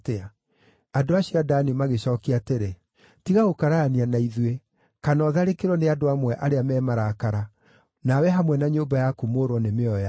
Andũ acio a Dani magĩcookia atĩrĩ, “Tiga gũkararania na ithuĩ, kana ũtharĩkĩrwo nĩ andũ amwe arĩa me marakara, nawe hamwe na nyũmba yaku mũũrwo nĩ mĩoyo yanyu.”